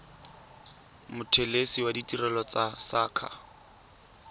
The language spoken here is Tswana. mothelesi wa ditirelo tsa saqa